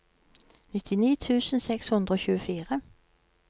nittini tusen seks hundre og tjuefire